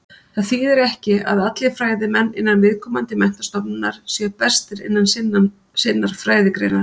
Það þýðir ekki að allir fræðimenn innan viðkomandi menntastofnunar séu bestir innan sinnar fræðigreinar.